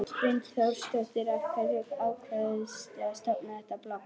Hrund Þórsdóttir: Af hverju ákvaðstu að stofna þetta blogg?